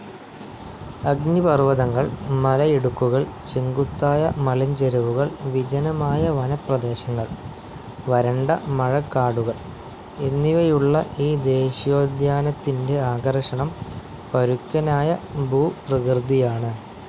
അഗ്നിപർവതങ്ങൾ, മലയിടുക്കുകൾ, ചെങ്കുത്തായ മലഞ്ചെരുവുകൾ, വിജനമായ വനപ്രദേശങ്ങൾ, വരണ്ട മഴകാടുകൾ എന്നിവയുള്ള ഈ ദേശീയോദ്യാനത്തിൻ്റെ ആകർഷണം പരുക്കനായ ഭൂപ്രകൃതിയാണ്.